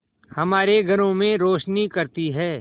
हमारे घरों में रोशनी करती है